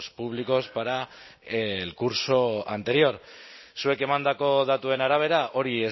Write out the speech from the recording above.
públicos para el curso anterior zuek emandako datuen arabera hori